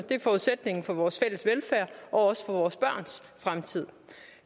det er forudsætningen for vores fælles velfærd og også for vores børns fremtid